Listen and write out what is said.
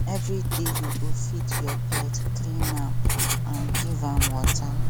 every day you go feed your pet clean am and give am water